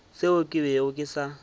seo ke bego ke sa